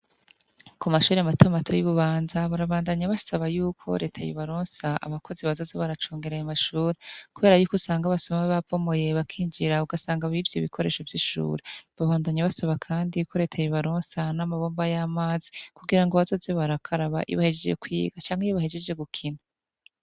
ku mashure matamato y'ububanza barabandanya basaba y'uko reta yobaronsa abakozi bazoze baracungeraye mashuri kubera y'uko usanga abasoma be bapomoye bakinjira ugasanga bivye ibikoresho vy'ishure babandanya basaba kandi ko reta yobaronsa n'amabomba y'amazi kugira ngo abazoze barakaraba yibahegeje kwiga cangwe iyibahegejeje gukina